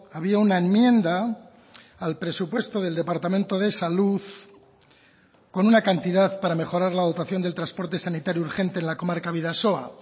había una enmienda al presupuesto del departamento de salud con una cantidad para mejorar la dotación del transporte sanitario urgente en la comarca bidasoa